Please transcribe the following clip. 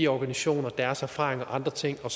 organisationer og deres erfaringer og andre ting og